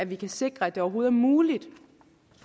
vi kan sikre at det overhovedet er muligt